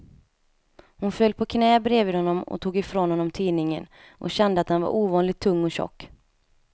Hon föll på knä bredvid honom och tog ifrån honom tidningen, och kände att den var ovanligt tung och tjock.